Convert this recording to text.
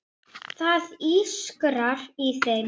Það ískrar í þeim.